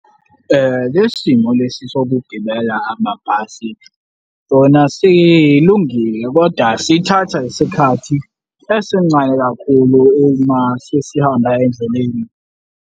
Le simo lesi sokugibela amabhasi sona silungile, koda sithatha isikhathi esincane kakhulu uma sesihamba endleleni.